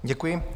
Děkuji.